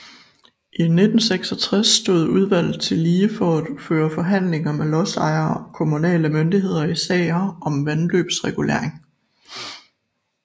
Fra 1966 stod udvlget tillige for at føre forhandling med lodsejere og kommunale myndigheder i sager om vandløbsregulering